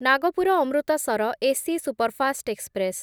Nagpur Amritsar AC superfast express